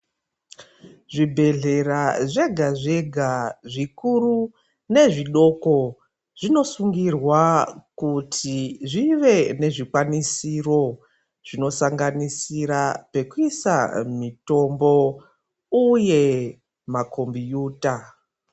Zvi bhedhlera zvega zvega zvikuru ne zvidoko zvino sungirirwa kuti zvive nezvi kwanisiro zvino sanganisira peku isa mitombo uye ma kombiyuta.